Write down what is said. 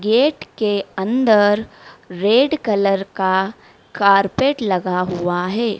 Gate के अन्दर red colour का कारपेट लगा हुआ है।